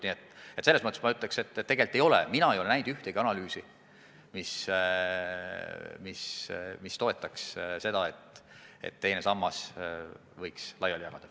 Nii et selles mõttes ma ütleks, et tegelikult ei ole mina näinud ühtegi analüüsi, mis toetaks seda, et teise samba raha võiks laiali jagada.